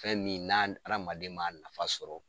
Fɛn min n'a hadamaden man nafa sɔrɔ